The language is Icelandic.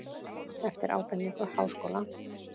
Eftir ábendingu Háskóla